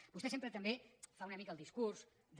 vostè sempre també fa una mica el discurs de